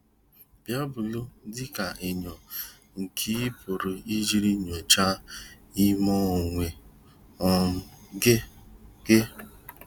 Baịbụlụ dị ka enyo nke ị pụrụ iji nyochaa ime onwe um gị gị.